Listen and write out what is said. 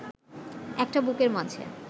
একটা বুকের মাঝে